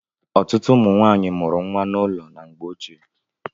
Ọtụtụ ụmụ nwanyị mụrụ nwa n'ụlọ na mgbé ochie.